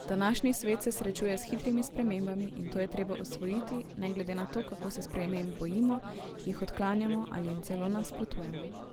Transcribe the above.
Današnji svet se srečuje s hitrimi spremembami, in to je treba osvojiti, ne glede na to, kako se sprememb bojimo, jih odklanjamo ali jim celo nasprotujemo.